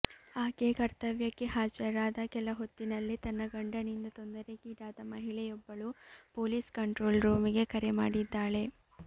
ಆಕೆ ಕರ್ತವ್ಯಕ್ಕೆ ಹಾಜರಾದ ಕೆಲ ಹೊತ್ತಿನಲ್ಲೇ ತನ್ನ ಗಂಡನಿಂದ ತೊಂದರೆಗೀಡಾದ ಮಹಿಳೆಯೊಬ್ಬಳು ಪೊಲೀಸ್ ಕಂಟ್ರೋಲ್ ರೂಮಿಗೆ ಕರೆ ಮಾಡಿದ್ದಾಳೆ